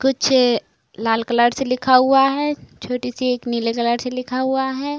कुछ लाल कलर से लिखा हुआ है छोटी सी एक नीले कलर से लिखा हुआ है।